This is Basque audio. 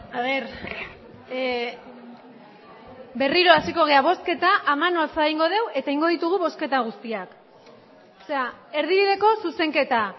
a ver a ver eh berriro hasiko gara bozketa a mano alzada egingo dugu eta egingo ditugu bozketa guztiak erdibideko zuzenketa